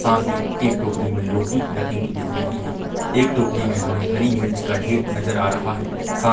साथ ही एक टोकरी मे लौकी रखी हुई दिख रही है एक टोकरी मे हमे हरी मिर्च का ढेर नजर आ रहा है साथ--